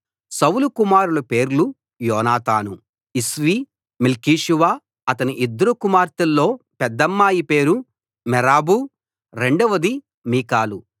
సౌలు కుమారుల పేర్లు యోనాతాను ఇష్వీ మెల్కీషూవ అతని ఇద్దరు కుమార్తెల్లో పెద్దమ్మాయి పేరు మేరబు రెండవది మీకాలు